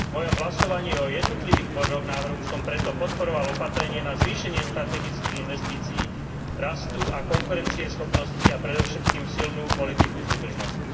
V mojom hlasovaní o jednotlivých bodoch návrhu som preto podporoval opatrenie na zvýšenie strategických investícií rastu a konkurencieschopnosti a predovšetkým silnú politiku súdržnosti.